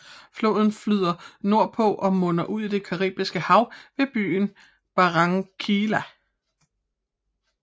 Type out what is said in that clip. Floden flyder nordpå og munder ud i det Caribiske Hav ved byen Barranquilla